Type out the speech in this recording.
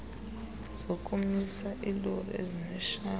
zokumisa iilori ezineshawa